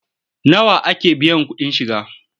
Nawa ake biyan kuɗin shiga?